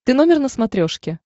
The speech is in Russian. ты номер на смотрешке